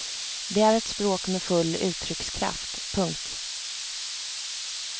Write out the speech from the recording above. Det är ett språk med full uttryckskraft. punkt